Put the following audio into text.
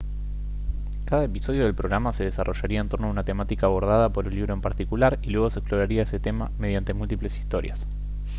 cada episodio del programa se desarrollaría en torno a una temática abordada por un libro en particular y luego se exploraría ese tema mediante múltiples historias